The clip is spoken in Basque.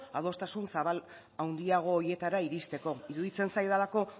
adostasun zabal handiago horietara iristeko iruditzen zaidalako